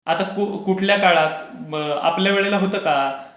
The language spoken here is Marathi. आता कुठल्या काळात आपल्या वेळेला होतं का?